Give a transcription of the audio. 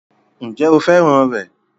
Ǹjẹ́ o fẹ́ràn rẹ̀?